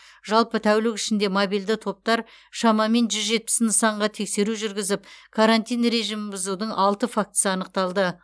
жалпы тәулік ішінде мобильді топтар шамамен жүз жетпіс нысанға тексеру жүргізіп карантин режимін бұзудың алты фактісін анықтады